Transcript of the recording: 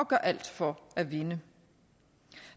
gør alt for at vinde